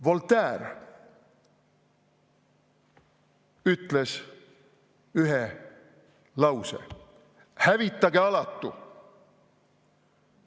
Voltaire ütles sellise lause: "Hävitage alatu!